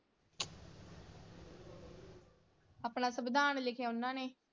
ਆਪਣਾ ਸੰਵਿਧਾਨ ਲਿਖਿਆ ਓਹਨਾ ਨੇ,